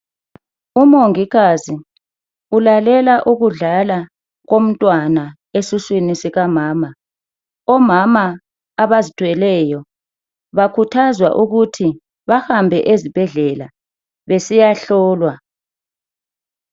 Umongikazi ulalela ukudlala komntwana esiswini sikamama. Omama abazithweleyo bakhuthazwa ukuthi bahambe ezibhedlela besiyahlolwa.